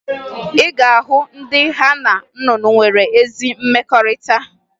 Ị ga-ahụ ndị ha na nnụnụ nwere ezi mmekọrịta